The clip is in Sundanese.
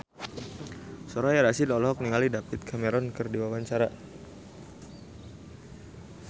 Soraya Rasyid olohok ningali David Cameron keur diwawancara